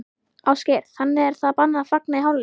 Ásgeir: Þannig að það er bannað að fagna í hálfleik?